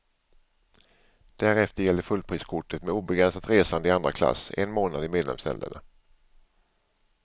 Därefter gäller fullpriskortet med obegränsat resande i andra klass en månad i medlemsländerna.